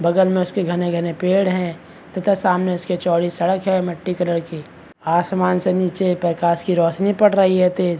बगल में उसके घने- घने पेड़ है तथा सामने उसके चौड़ी सड़क है मिट्टी कलर की आसमान से नीचे परकास की रौशनी पड़ रही है तेज --